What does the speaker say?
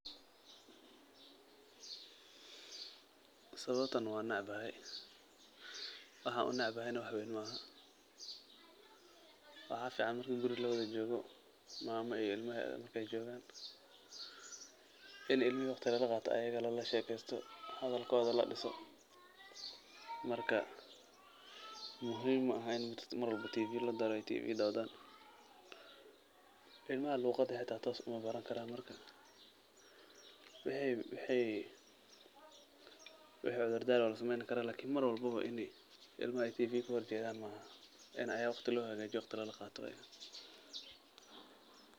Sawabta wanecbahay waxa u neceebahay wax weyn maahn waxa fican marki guuri lawathajokoh mama iyo ilmaheetha markay jokan ini ilmaha waqdi lalaqatoh ayaga lalashekeystoh, hadalkotha ladisoh marka muhim maaha ini Tv dawtaan ilmaha xata luqada toos uma barankaran marka wixi dardaran Wala sameeyni karah iklni marwalbo ini ilma tv kahorjeethan maahan Ina ayaga lahagajeyoh waqdi lalaqatoh, Aya muhim.